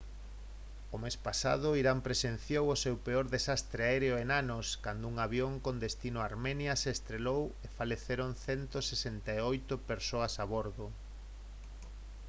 o mes pasado irán presenciou o seu peor desastre aéreo en anos cando un avión con destino a armenia se estrelou e faleceron 168 persoas a bordo